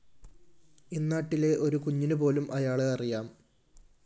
ഇന്നാട്ടിലെ ഒരു കുഞ്ഞിനുപോലും അയാളെ അറിയാം